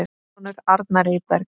Þinn sonur, Arnar Eyberg.